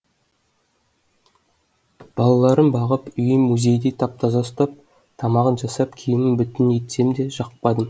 балаларын бағып үйін музейдей тап таза ұстап тамағын жасап киімін бүтін етсем де жақпадым